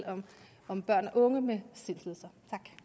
om børn og unge med sindslidelser